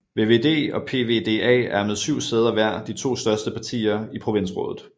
VVD og PvdA er med 7 sæder hver de to største partier i provinsrådet